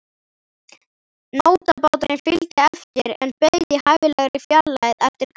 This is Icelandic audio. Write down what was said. Nótabáturinn fylgdi eftir en beið í hæfilegri fjarlægð eftir kalli.